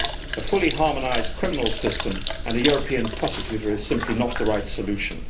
A fully harmonised criminal system and a European prosecutor is simply not the right solution.